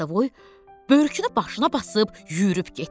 Qaradavoy börkünü başına basıb yürüb getdi.